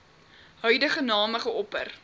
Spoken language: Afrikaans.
huidige name geopper